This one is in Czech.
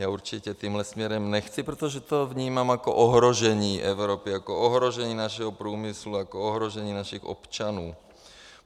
Já určitě tímhle směrem nechci, protože to vnímám jako ohrožení Evropy, jako ohrožení našeho průmyslu, jako ohrožení našich občanů.